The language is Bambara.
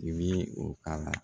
I bi o k'a la